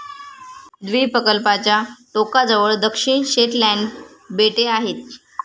द्वीपकल्पाच्या टोकाजवळ दक्षिण शेटलँड बेटे आहेत.